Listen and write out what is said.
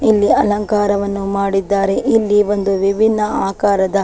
ಇಲ್ಲಿ ಅಲಂಕಾರವನ್ನು ಮಾಡಿದ್ದಾರೆ ಇಲ್ಲಿ ಒಂದು ವಿಭಿನ್ನ ಆಕಾರದ.